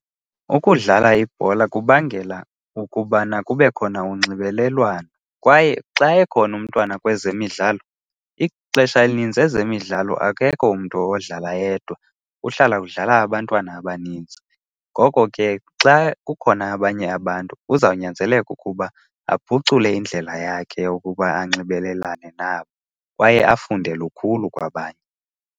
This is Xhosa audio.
Ukudlala ibhola kubangela ukubana kube khona unxibelelwano kwaye xa ekhona umntwana kwezemidlalo ixesha elinintsi ezemidlalo akekho umntu odlala yedwa, kuhlala kudlala abantwana abaninzi. Ngoko ke xa kukhona abanye abantu kuzawunyanzeleka ukuba aphucule indlela yakhe ukuba anxibelelane nabo kwaye afunde lukhulu kwabanye.